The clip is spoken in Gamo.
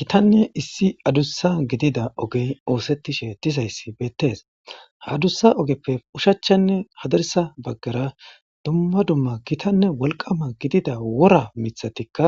Gitanne issi adussa gidida ogey oosettishe dizayssi beettees hadussa ogeppe ushachchanne hadarsa baggara dumma dumma gitanne wolqama gidida wora mithatikka